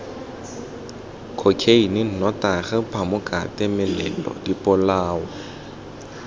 khokheine nnotagi phamokate melelo dipolao